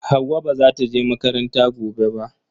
Hauwa ba zata je makaranta gobe ba